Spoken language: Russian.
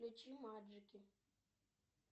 включи маджики